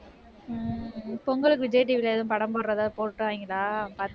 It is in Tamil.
பொங்கலுக்கு விஜய் TV ல ஏதும் படம் போடறதா, போட்டுட்டாங்களா பாத்தி~